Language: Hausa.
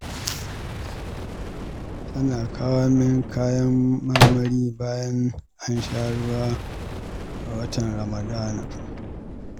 Tana kawo mini kayan marmari bayan an sha ruwa a watan Ramadana